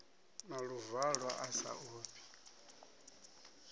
na luvalo a sa ofhi